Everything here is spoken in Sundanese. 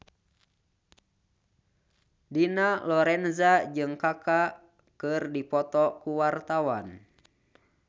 Dina Lorenza jeung Kaka keur dipoto ku wartawan